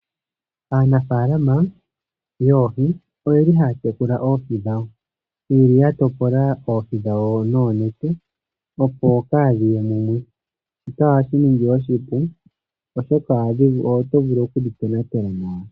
Aanafalama yoohi oyeli haya tekula oohi dhawo yeli ya topola oohi dhawo noonete opo kadhiye mumwe shika ohashi ningi oshipu oshoka oto vulu okudhi tonatela nawa.